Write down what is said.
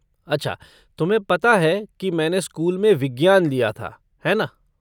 अच्छा, तुम्हें पता है की मैंने स्कूल में विज्ञान लिया था, है ना।